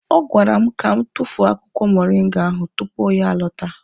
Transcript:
Ọ gwara m ka m tufuo akwụkwọ moringa ahụ tupu ya alọta.